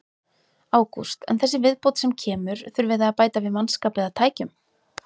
Ágúst: En þessi viðbót sem kemur, þurfið þið að bæta við mannskap eða tækjum?